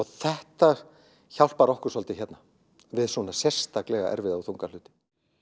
þetta hjálpar okkur svolítið hérna við svona sérstaklega erfiða og þunga hluti